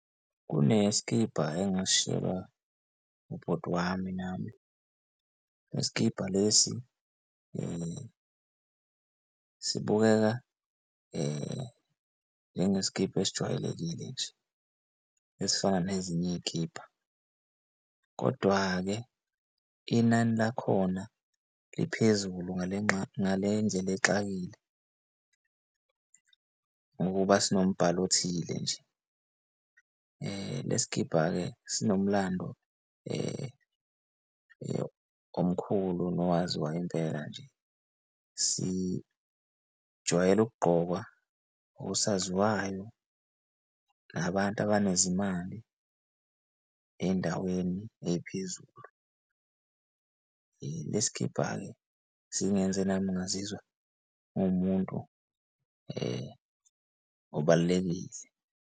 Kune sikibha engasishiyelwa ubhuti wami nami. Le sikibha lesi sibukeka njengeskibha esijwayelekile nje esifana nezinye ey'kibha. Kodwa-ke inani lakhona liphezulu ngale ngale ndlela exakile ngoba sinombalo othile nje. Le sikibha-ke sinomlando omkhulu nowaziwayo impela nje. Sijwayele ukugqokwa osaziwayo nabantu abanezimali ey'ndaweni ey'phezulu. Le sikibha-ke singenze nami ngazizwa nguwumuntu obalulekile.